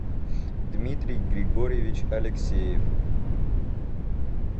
дмитрий григорьевич алексеев